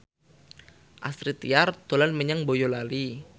Astrid Tiar dolan menyang Boyolali